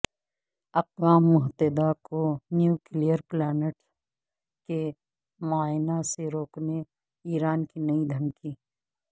اقوام متحدہ کو نیوکلیئر پلانٹس کے معائنہ سے روکنے ایران کی نئی دھمکی